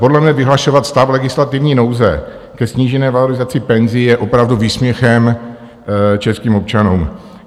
Podle mne vyhlašovat stav legislativní nouze ke snížené valorizaci penzí je opravdu výsměchem českým občanům.